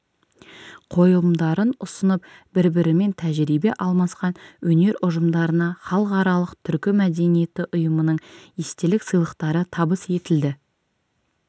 қойылымдарын ұсынып бір-бірімен тәжірибе алмасқан өнер ұжымдарына халықаралық түркі мәдениеті ұйымының естелік сыйлықтары табыс етілді